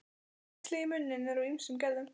Æxli í munni eru af ýmsum gerðum.